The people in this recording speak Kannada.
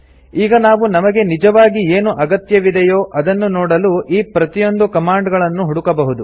ಈಗ ನಾವು ನಮಗೆ ನಿಜವಾಗಿ ಏನು ಅಗತ್ಯವಿದೆಯೋ ಅದನ್ನು ನೋಡಲು ಈ ಪ್ರತಿಯೊಂದು ಕಮಾಂಡ್ ಗಳನ್ನು ಹುಡುಕಬಹುದು